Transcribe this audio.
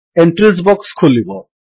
entries box ଖୋଲିବ